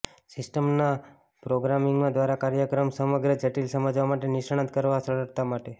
સિસ્ટમના પ્રોગ્રામિંગમાં દ્વારા કાર્યક્રમો સમગ્ર જટિલ સમજવા માટે નિષ્ણાત કામ સરળતા માટે